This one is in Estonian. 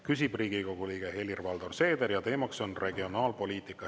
Küsib Riigikogu liige Helir-Valdor Seeder ja teema on regionaalpoliitika.